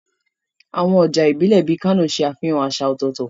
Àwọn ọjà ìbílẹ̀ bíi Kano ṣe àfihàn àṣà ọ̀tọ̀ọ̀tọ̀.